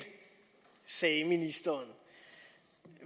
sagde ministeren